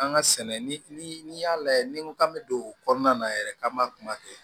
An ka sɛnɛ ni y'a lajɛ ni ko k'an bɛ don o kɔnɔna na yɛrɛ k'an m'a kuma kɛ